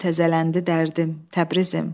Yenə təzələndi dərdim, Təbrizim!